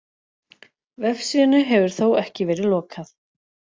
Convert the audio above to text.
Vefsíðunni hefur þó ekki verið lokað